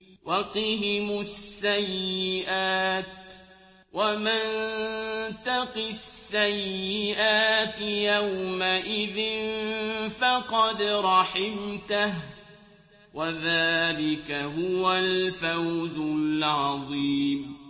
وَقِهِمُ السَّيِّئَاتِ ۚ وَمَن تَقِ السَّيِّئَاتِ يَوْمَئِذٍ فَقَدْ رَحِمْتَهُ ۚ وَذَٰلِكَ هُوَ الْفَوْزُ الْعَظِيمُ